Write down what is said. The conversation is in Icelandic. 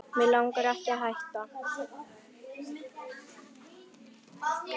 Mig langar ekki að hætta.